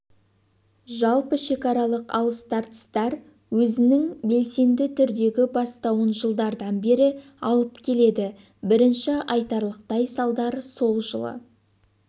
жалпы шекаралық алыс-тартыстар өзінің белсенді түрдегі бастауын жылдардан бері алып келеді бірінші айтарлықтай салдар сол жылы